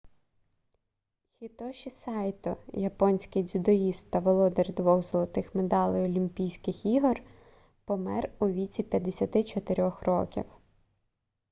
хітоші сайто японський дзюдоїст та володар двох золотих медалей олімпійських ігор помер у віці 54-х років